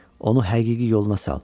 Onu həqiqi yoluna sal.